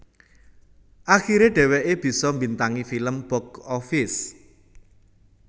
Akiré dheweké bisa mbintangi film box office